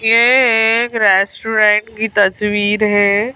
ये एक रेस्टोरेंट की तस्वीर है।